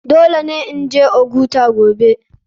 Dole ne in je ogata gobe.